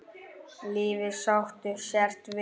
Lífið sáttur sértu við.